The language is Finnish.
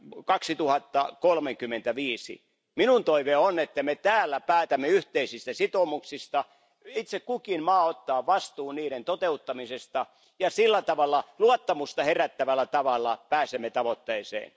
2035. Minun toiveeni on, että me täällä päätämme yhteisistä sitoumuksista. Itse kukin maa ottaa vastuun niiden toteuttamisesta, ja sillä tavalla luottamusta herättävällä tavalla pääsemme tavoitteeseen.